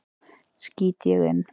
skýt ég inn.